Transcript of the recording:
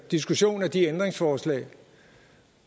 diskussion af de ændringsforslag